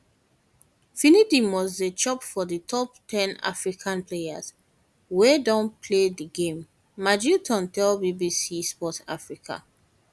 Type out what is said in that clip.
finidi must dey for di top ten african players wey don play di game magilton tell bbc sport africa